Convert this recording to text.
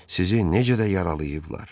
Sizi necə də yaralayıblar!